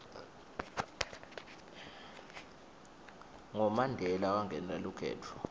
ngo mandela wangenela kukhetfho